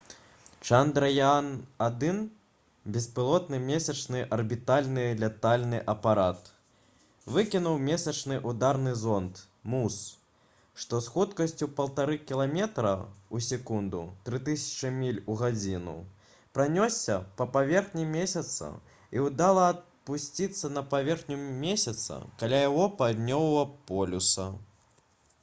«чандраяан-1» беспілотны месячны арбітальны лятальны апарат выкінуў месячны ўдарны зонд муз што з хуткасцю 1,5 кіламетра ў секунду 3000 міль у гадзіну пранёсся па паверхні месяца і ўдала апусціўся на паверхню месяца каля яго паўднёвага полюса